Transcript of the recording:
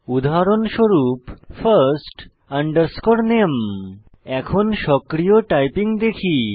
উদাহরণস্বরূপ first name এখন সক্রিয় টাইপিং দেখি